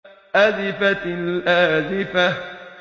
أَزِفَتِ الْآزِفَةُ